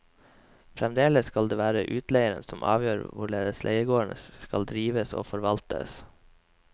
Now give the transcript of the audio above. Fremdeles skal det være utleieren som avgjør hvorledes leiegården skal drives og forvaltes.